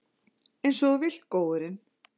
Einsog þú vilt, góurinn.